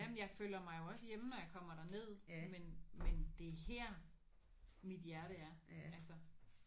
Ja men jeg føler mig jo også hjemme når jeg kommer derned men men det er her mit hjerte er altså